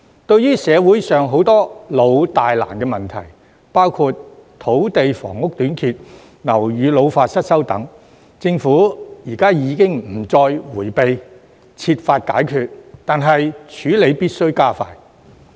對於社會上許多老、大、難的問題，包括土地房屋短缺、樓宇老化失修等，政府現已不再迴避，設法解決，但處理必須加快。